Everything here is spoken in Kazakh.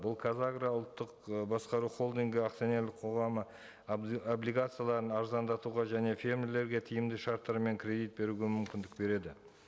бұл қазагро ұлттық ы басқару холдингі акционерлік қоғамы облигацияларын арзандатуға және фермерлерге тиімді шарттар мен кредит беруге мүмкіндік береді